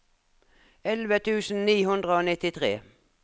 elleve tusen ni hundre og nittitre